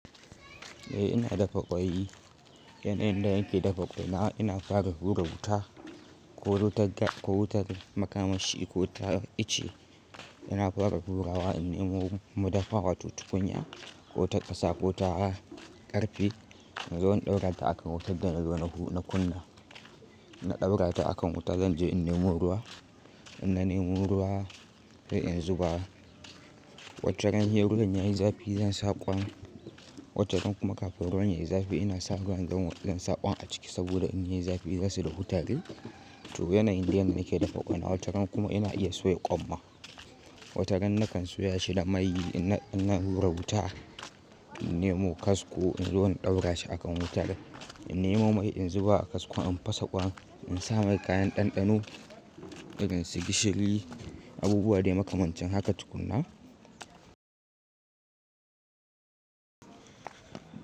Eh ina dafa ƙwai, yanayin da yake dafa ƙwai na ina fara rura wuta ko wutar gas ko wutar makamashi ko ta ice. Ina fara rura wa in nemo mu dafa wato tukunya ko ta ƙasa ko ta ƙarfe. In zo in ɗaura ta akan wutar da na zo na kunna, na ɗaura ta akan wuta. Zan je in nemo ruwa, in na nemo ruwa sai in zuba wataran sai ruwan yayi zafi zan saka kwan. Wataran kuma kafin ruwan yayi zafi ina sa ruwan zan sa ƙwan a ciki saboda in yayi zafi zasu dahu tare To yanayin de yanda nake dafa ƙwai na wataran kuma ina iya soya ƙwanma. Wataran na kan soya shi da mai ina rura wuta in nemo kasko in zo in ɗaura shi a kan wuta da in nemo mai in zuba a kasko in fasa ƙwan. In sa mai kayan ɗanɗano irin su gishiri, abubuwa de makamancin haka tukuna.